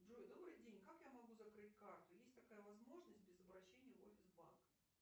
джой добрый день как я могу закрыть карту есть такая возможность без обращения в офис банка